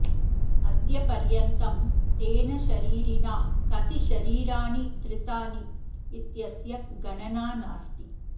अद्य पर्यन्तं तेन शरीरिणा कति शरीराणि धृतानि इत्यस्य गणना नास्ति